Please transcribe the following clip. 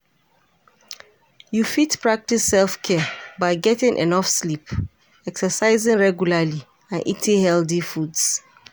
You fit practice self-care by getting enough sleep, exercising regularly and eating healthy foods.